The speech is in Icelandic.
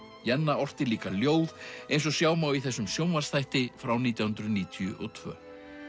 Jenna orti líka ljóð eins og sjá má í þessum sjónvarpsþætti frá nítján hundruð níutíu og tvö